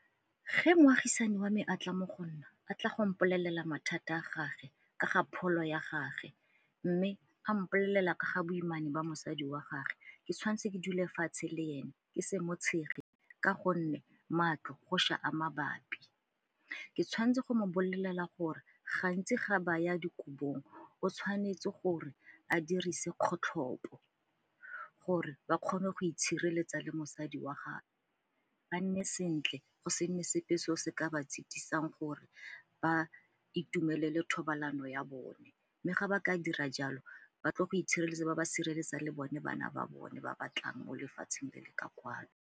Ge moagisani wa me a tla mo go nna a tla go mpolelela mathata a gage ka ga pholo ya gage mme a mpolelela ka ga boimane ba mosadi wa gage ke tshwanetse ke dula fatshe le yone ke se mo tshege ka gonne matlo go ša a mabapi. Ke tshwanetse go mo bolelela gore gantsi ga ba ya dikobong o tshwanetse gore a dirise kgotlhopo gore ba kgone go itshireletsa le mosadi wa gagwe ba nne sentle go se nne sepe se o se ka ba tshitisang gore ba itumelele thobalano ya bone. Mme ga ba ka dira jalo ba tlo go itshireletsa, ba be ba sireletsa le bone bana ba bone ba ba tlang mo lefatsheng le le ka kwano.